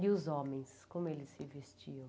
E os homens, como eles se vestiam?